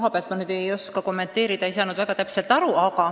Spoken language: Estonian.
Arvatavat kasu ma ei oska kommenteerida, ma ei saanud küsimusest täpselt aru.